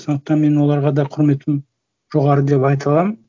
сондықтан мен оларға да құрметім жоғары деп айта аламын